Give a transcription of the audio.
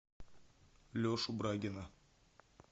лешу брагина